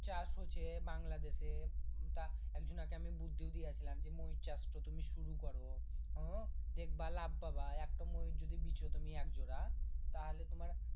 চাষ হচ্ছে বাংলা দেশে তা এক ঝুনা আমি বুদ্ধি দিয়েছিলাম যে ময়ুর চাষ তা তুমি শুরু করো হুম দেখব লাভ পাবা একটা ময়ুর যদি বিছু তুমি একজোড়া তাহলে তোমার